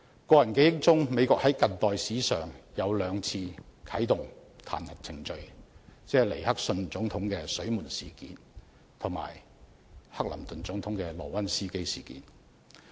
在我記憶中，美國在近代史上只啟動過兩次彈劾程序，針對的是尼克遜總統的"水門事件"及克林頓總統的"萊溫斯基事件"。